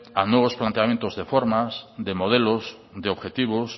a nuevos planteamientos de formas de modelos de objetivos